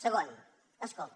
segon escolti